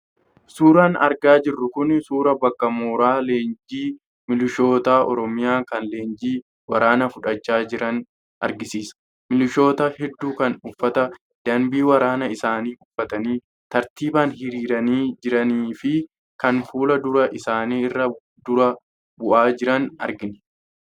Suuraan argaa jirru kun suuraa bakka mooraa leenjii milishoota Oromiyaa kan leenjii waraanaa fudhachaa jiranii argisiisa. Milishoota hedduu kan uffata danbii waraanaa isaanii uffatanii tartiibaan hiriiranii jiranii fi kan fuul-dura isaanii irraa dura bu'aa jiran argina.